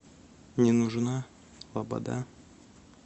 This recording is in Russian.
не нужна лобода